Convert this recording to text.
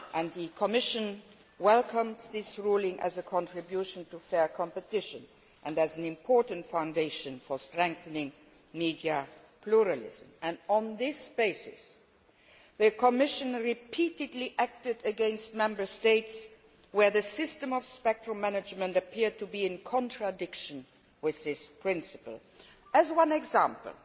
The Commission welcomed that ruling as a contribution to fair competition and as an important foundation for strengthening media pluralism. On that basis, the Commission has repeatedly acted against Member States where the system of spectrum management has appeared to be in contradiction with this principle. By way of example,